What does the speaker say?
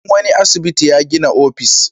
Shugaban wani asibiti ya gina sabon ofis.